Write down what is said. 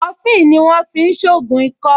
Kọfufíì ni wọ́n fi ń ṣògùn ikọ́